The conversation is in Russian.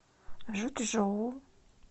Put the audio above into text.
жучжоу